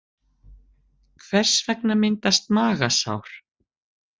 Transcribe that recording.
Hvers vegna myndast magasár?